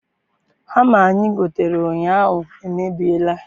Hama anyị gotere ụnyaahụ emebiela.